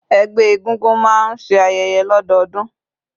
Ẹgbẹ́ egúngún máa ń ṣe ayẹyẹ lọdọọdun.